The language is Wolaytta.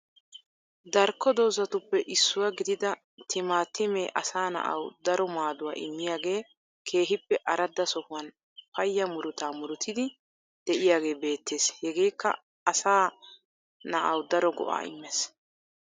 Darkko dozatuppe issuwa gididaa timmaatimmee asa naa7u daro maaduwaa immiyagee kehippe araadda sohuwan payyaa murutaa murutiyddi de7iyagee beettees hegeekka asa naa7awu daro go7aa immeess